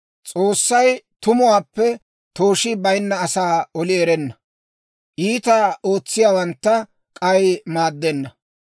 «S'oossay tumuwaappe tooshii bayinna asaa oli erenna; iitaa ootsiyaawantta k'ay maaddenna.